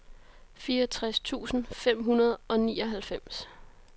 fireogtres tusind fem hundrede og nioghalvfems